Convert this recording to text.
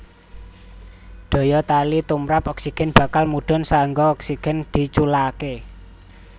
Daya tali tumrap oksigen bakal mudhun saéngga oksigen diculaké